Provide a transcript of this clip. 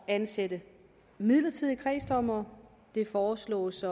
at ansætte midlertidige kredsdommere det foreslås